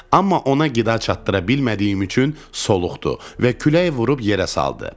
Amma ona qida çatdıra bilmədiyim üçün soluqdu və külək vurub yerə saldı.